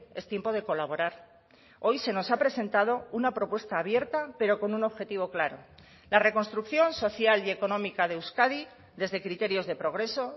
es tiempo de colaborar hoy se nos ha presentado una propuesta abierta pero con un objetivo claro la reconstrucción social y económica de euskadi desde criterios de progreso